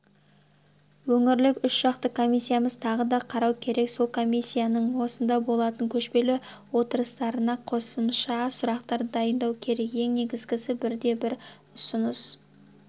өңірлік үшжақты комиссиямыз тағы да қарау керек сол комиссияның осында болатын көшпелі отырыстарына қосымша сұрақтар дайындау керек ең негізгісі бірде-бір ұсыныс